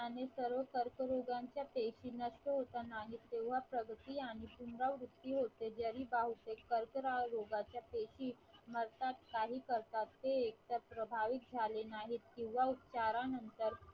आणि सर्व कर्करोगांच्या पैकी नाही तेव्हा प्रगती आणि पुनर्वृत्ति होते जरी बहुतेक कर्करोगाच्या पैकी मरतात काही करतात ते एक प्रभावी झाले नाहीत किंवा उपचारानंतर